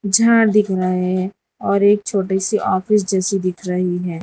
झाड़ दिख रहा है और एक छोटी सी ऑफिस जैसी दिख रही है।